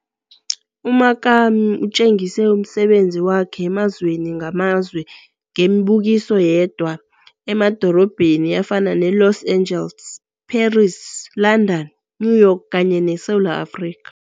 U-Makamo utjengise umsebenzi wakhe emazweni ngamazwe, ngemibukiso yedwa emadorobheni afana ne-Los Angeles, Paris, London, New York kanye neSewula Afrika.